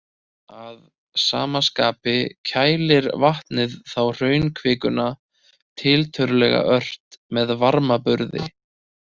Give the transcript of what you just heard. Að sama skapi kælir vatnið þá hraunkvikuna tiltölulega ört með varmaburði.